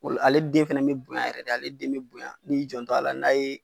O la, ale den fɛnɛ be bonya yɛrɛ de. Ale den be bonyan ni y'i janto a la n'a ye